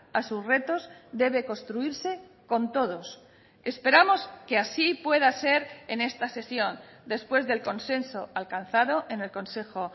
a sus retos debe construirse con todos esperamos que así pueda ser en esta sesión después del consenso alcanzado en el consejo